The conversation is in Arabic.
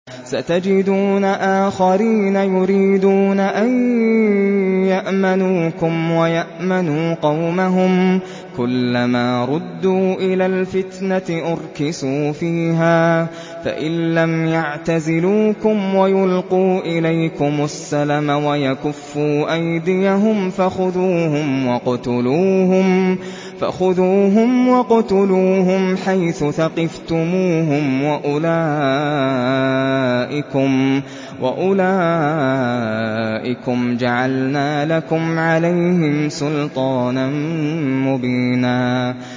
سَتَجِدُونَ آخَرِينَ يُرِيدُونَ أَن يَأْمَنُوكُمْ وَيَأْمَنُوا قَوْمَهُمْ كُلَّ مَا رُدُّوا إِلَى الْفِتْنَةِ أُرْكِسُوا فِيهَا ۚ فَإِن لَّمْ يَعْتَزِلُوكُمْ وَيُلْقُوا إِلَيْكُمُ السَّلَمَ وَيَكُفُّوا أَيْدِيَهُمْ فَخُذُوهُمْ وَاقْتُلُوهُمْ حَيْثُ ثَقِفْتُمُوهُمْ ۚ وَأُولَٰئِكُمْ جَعَلْنَا لَكُمْ عَلَيْهِمْ سُلْطَانًا مُّبِينًا